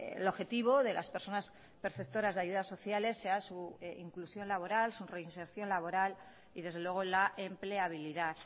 el objetivo de las personas perceptoras de ayudas sociales sea su inclusión laboral su reinserción laboral y desde luego la empleabilidad